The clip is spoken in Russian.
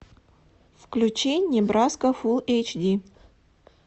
включи небраска фулл эйч ди